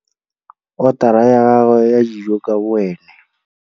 Otara ya gagwe ya dijo ka boene.